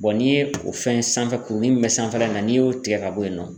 n'i ye o fɛn sanfɛ kurunin min bɛ sanfɛla in na n'i y'o tigɛ ka bɔ yen nɔ.